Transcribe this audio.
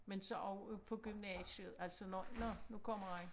Men så også på gymnasiet altså når nå nu kommer der en